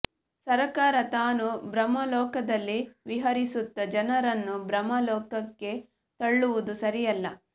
ಸರಕಾರ ತಾನು ಭ್ರಮಾಲೋಕದಲ್ಲಿ ವಿಹರಿಸುತ್ತ ಜನರನ್ನೂ ಭ್ರಮಾ ಲೋಕಕ್ಕೆ ತಳ್ಳುವುದು ಸರಿಯಲ್ಲ